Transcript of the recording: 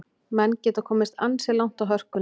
Menn geta komist ansi langt á hörkunni.